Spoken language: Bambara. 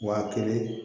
Waa kelen